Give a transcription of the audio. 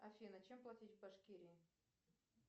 афина чем платить в башкирии